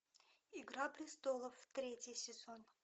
игра престолов третий сезон